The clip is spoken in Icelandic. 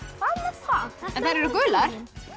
það en þær eru gular